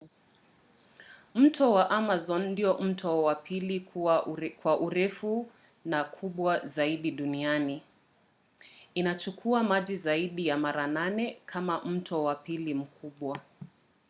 mto wa amazon ndiyo mto wa pili kwa urefu na kubwa zaidi duniani. inachukua maji zaidi ya mara 8 kama mto wa pili mkubwa